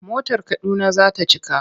Motar Kaduna za ta cika.